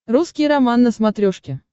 русский роман на смотрешке